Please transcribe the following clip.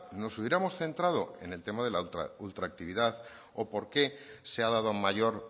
nos hubiéramos centrado en el tema de la ultraactividad o por qué se ha dado mayor